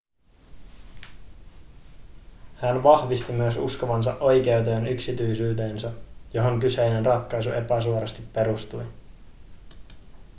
hän vahvisti myös uskovansa oikeuteen yksityisyyteen johon kyseinen ratkaisu epäsuorasti perustui